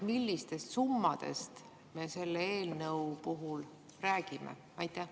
Millistest summadest me selle eelnõu puhul räägime?